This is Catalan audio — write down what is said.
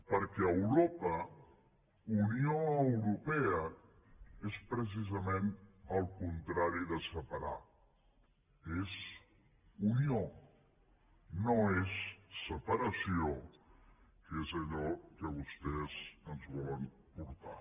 perquè europa unió europea és precisament el contrari de separar és unió no és separació que és allò que vostès ens volen portar